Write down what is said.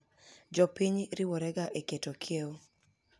Jopiny riworega eketo kiewo.